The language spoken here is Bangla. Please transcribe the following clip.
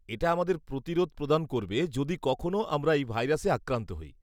এটা আমাদের প্রতিরোধ প্রদান করবে যদি কখনো আমরা এই ভাইরাসে আক্রান্ত হই।